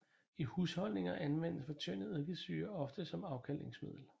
I husholdninger anvendes fortyndet eddikesyre ofte som afkalkningsmiddel